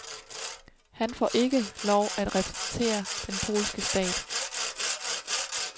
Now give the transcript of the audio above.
Han får ikke lov at repræsentere den polske stat.